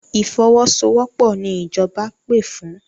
Ìfọwọ́sowọ́pọ̀ ni ìjọba pè fún.